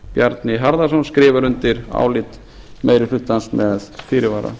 bjarni harðarson skrifar undir álit meiri hlutans með fyrirvara